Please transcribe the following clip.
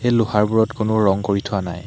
লোহাৰবোৰত কোনো ৰং কৰি থোৱা নাই।